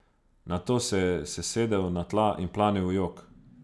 Nato se je sesedel na tla in planil v jok.